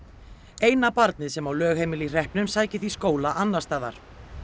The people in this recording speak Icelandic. eina barnið sem á lögheimili í hreppnum sækir því skóla annars staðar